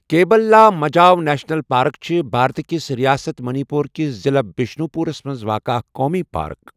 Cable Lamjao national park چھِ بھارتہٕ کِس رِیاست منی پور کِس ضلعہٕ بِشنُو پورَس منٛز واقعہٕ اکھ قومی پارک۔